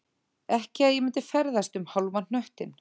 Ekki að ég myndi ferðast um hálfan hnöttinn